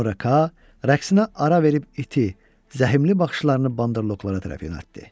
Sonra Ka rəqsinə ara verib iti, zəhmli baxışlarını bandırloqlara tərəf yönəltdi.